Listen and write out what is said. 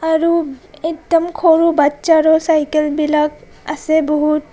আৰু একদম সৰু বচ্ছাৰো চাইকেল বিলাক আছে বহুত.